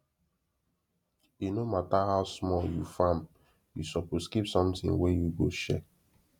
e no matter how small you farm you suppose keep something wey you go share